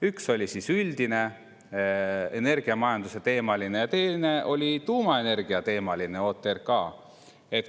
Üks oli üldine, energiamajanduse teemal, ja teine oli tuumaenergiateemaline OTRK.